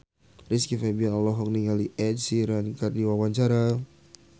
Rizky Febian olohok ningali Ed Sheeran keur diwawancara